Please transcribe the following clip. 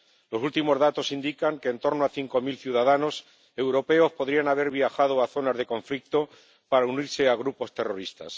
Los últimos datos indican que en torno a cinco mil ciudadanos europeos podrían haber viajado a zonas de conflicto para unirse a grupos terroristas.